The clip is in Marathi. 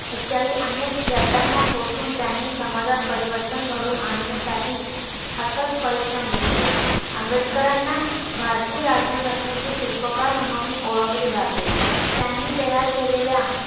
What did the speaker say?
इत्यादी अनेक यातना सोसुन त्यांनी समाजात परिवर्तन घडवून आणण्यासाठी अथक परिश्रम घेतले आंबेडकरांना भारतीय राज्यघटनेचे शिल्पकार म्हणूनही ओळखले जाते त्यांनी तयार केलेल्या